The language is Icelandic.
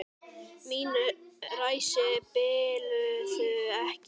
Mín ræsi biluðu ekki.